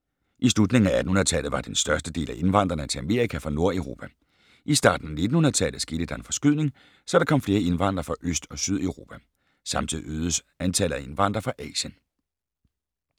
I slutningen af 1800-tallet var den største del af indvandrerne til Amerika fra Nordeuropa. I starten af 1900-tallet skete der en forskydning, så der kom flere indvandrere fra Øst- og Sydeuropa. Samtidig øgedes antallet af indvandrere fra Asien.